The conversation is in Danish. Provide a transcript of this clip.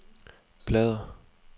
bladr